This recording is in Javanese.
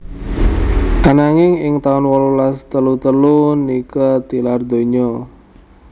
Ananging ing taun wolulas telu telu Nike tilar donya